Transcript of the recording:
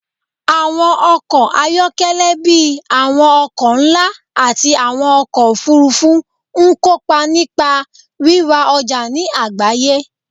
Àwọn ọkọ̀ ayọ́kẹ́lẹ́ bíi àwọn ọkọ̀ ńlá àti àwọn ọkọ̀ òfuurufú ń kópa nípa rírà ọjà ní agbaye